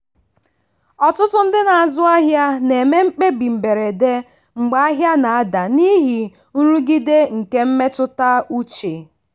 ọtụtụ ndị na-azụ ahịa na-eme mkpebi mberede mgbe ahịa na-ada n'ihi nrụgide nke mmetụta uche.